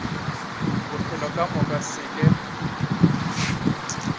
bophelo ka moka se ke